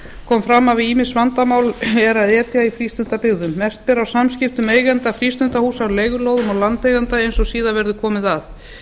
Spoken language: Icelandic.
kom fram að við ýmis vandamál er að etja í frístundabyggðum mest ber á samskiptum eigenda frístundahús á leigulóðum og landeigenda eins og síðar verður komið